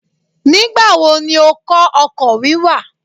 Nígbà wo ni ó kọ́ ọkọ̀ wíwà.?